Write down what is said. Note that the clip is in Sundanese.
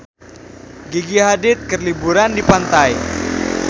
Gigi Hadid keur liburan di pantai